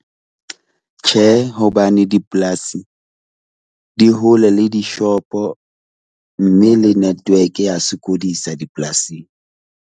Tjhe, hobane dipolasi di hole le di-shop-o mme le network ya sokodisa dipolasing.